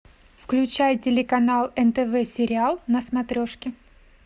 включай телеканал нтв сериал на смотрешке